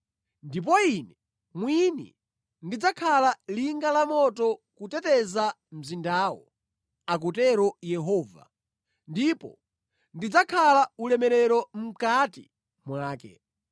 Ndipo Ine mwini ndidzakhala linga lamoto kuteteza mzindawo,’ akutero Yehova, ‘ndipo ndidzakhala ulemerero mʼkati mwake.’